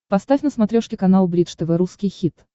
поставь на смотрешке канал бридж тв русский хит